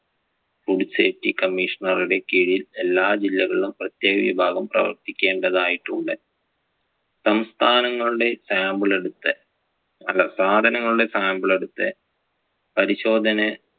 food safety commissioner ടെ കീഴിൽ എല്ലാ ജില്ലകളും പ്രേത്യേക വിഭാഗം പ്രവർത്തിക്കേണ്ടതായിട്ട് ഉണ്ട്. സംസ്ഥാനങ്ങളുടെ sample എടുത്ത് അല്ല സാധനങ്ങളുടെ sample എടുത്ത് പരിശോധന